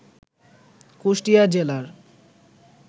কুষ্টিয়া জেলার